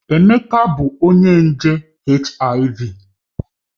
Emeka bu nje HIV